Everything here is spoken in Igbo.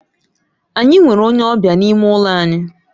Anyị nwere onye ọbịa n'ime ụlọ anyị.